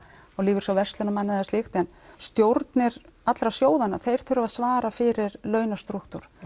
lífeyrissjóð verslunarmanna eða slíkt en stjórnir allra sjóðanna þeir þurfa að svara fyrir launastrúktúr